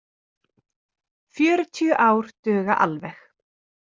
Fjörutíu ár duga alveg.